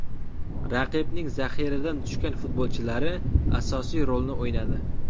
Raqibning zaxiradan tushgan futbolchilari asosiy rolni o‘ynadi.